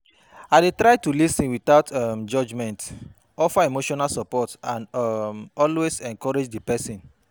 I dey try to lis ten without um judgment, offer emotional support and um always encourage di pesin.